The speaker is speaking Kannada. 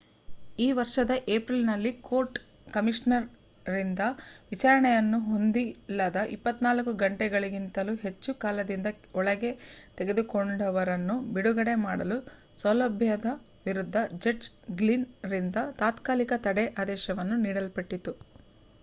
ಈ ವರ್ಷದ ಏಪ್ರಿಲ್‌ನಲ್ಲಿ ಕೋರ್ಟ್‌ ಕಮಿಷನರ್‌ರಿಂದ ವಿಚಾರಣೆಯನ್ನು ಹೊಂದಿಲ್ಲದ 24 ಗಂಟೆಗಳಿಗಿಂತಲೂ ಹೆಚ್ಚು ಕಾಲದಿಂದ ಒಳಕ್ಕೆ ತೆಗೆದುಕೊಂಡವರನ್ನು ಬಿಡುಗಡೆ ಮಾಡಲು ಸೌಲಭ್ಯದ ವಿರುದ್ಧ ಜಡ್ಜ್‌ ಗ್ಲಿನ್‌ರಿಂದ ತಾತ್ಕಾಲಿಕ ತಡೆ ಆದೇಶವನ್ನು ನೀಡಲ್ಪಟ್ಟಿತು